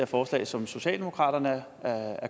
forslag som socialdemokratiet